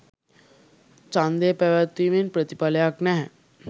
ඡන්දය පැවැත්වීමෙන් ප්‍රතිඵලයක් නැහැ